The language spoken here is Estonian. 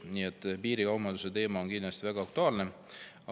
Nii et piirikaubanduse teema on kindlasti väga aktuaalne.